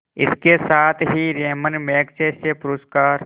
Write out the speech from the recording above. इसके साथ ही रैमन मैग्सेसे पुरस्कार